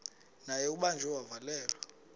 naye ubanjiwe wavalelwa